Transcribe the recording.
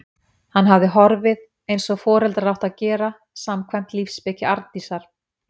Hann hafði horfið- eins og foreldrar áttu að gera, samkvæmt lífsspeki Arndísar.